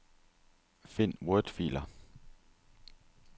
Find wordfiler.